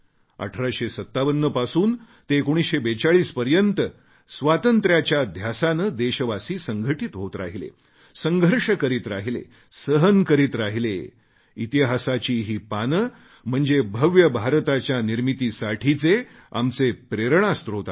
1857 पासून ते 1942 पर्यंत स्वातंत्र्याच्या ध्यासाने देशवासी संघटित होत राहिले संघर्ष करीत राहिले सहन करत राहिले इतिहासाची ही पाने म्हणजे भव्य भारताच्या निर्मितीसाठीचे आमचे प्रेरणास्त्रोत आहेत